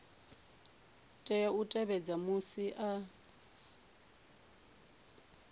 tea u tevhedza musi a